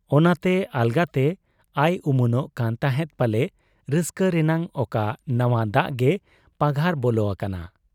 ᱚᱱᱟᱛᱮ ᱟᱞᱜᱟᱛᱮ ᱟᱭ ᱩᱢᱟᱹᱱᱚᱜ ᱠᱟᱱ ᱛᱟᱦᱮᱸᱫ ᱯᱟᱞᱮ ᱨᱟᱹᱥᱠᱟᱹ ᱨᱮᱱᱟᱜ ᱚᱠᱟ ᱱᱟᱶᱟ ᱫᱟᱜ ᱜᱮ ᱯᱟᱜᱷᱟᱨ ᱵᱚᱞᱚ ᱟᱠᱟᱱᱟ ᱾